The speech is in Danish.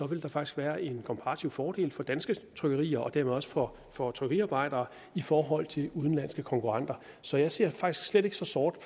vil der faktisk være en komparativ fordel for danske trykkerier og dermed også for for trykkeriarbejdere i forhold til udenlandske konkurrenter så jeg ser faktisk slet ikke så sort